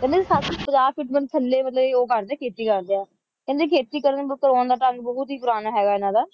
ਕਹਿੰਦੇ ਸੱਤ ਸੌ ਪੰਜਾਹ ਫੁੱਟ ਥੱਲੇ ਮਤਲਬ ਕਰਦੇ ਹੈਂ ਖੇਤੀ ਕਰਦੇ ਹੈ ਕਹਿੰਦੇ ਖੇਤੀ ਕਰਨ ਕਰਾਉਣ ਦਾ ਢੰਗ ਬਹੁਤ ਹੀ ਪੁਰਾਣ ਹੈਗਾ ਇਨ੍ਹਾਂ ਦਾ